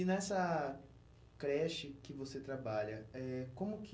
E nessa creche que você trabalha, eh como que...